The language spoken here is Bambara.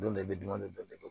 Don dɔ i bɛ dun dɔ bɛ